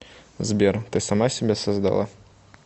сбер ты сама себя создала